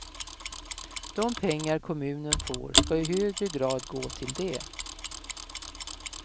De pengar kommunen får ska i högre grad gå till det.